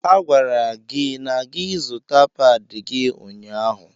A gwara gị na gị zuta páadi gị ụnyaahụ.